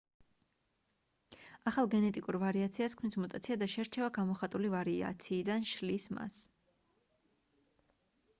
ახალ გენეტიკურ ვარიაციას ქმნის მუტაცია და შერჩევა გამოხატული ვარიაციიდან შლის მას